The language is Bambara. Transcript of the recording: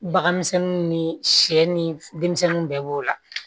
Baganmisɛnninw ni sɛ ni denmisɛnniw bɛɛ b'o la